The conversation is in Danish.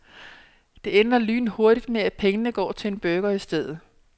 Det ender lynhurtigt med at pengene går til en burger i stedet.